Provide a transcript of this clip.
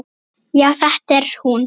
Já, þetta er hún.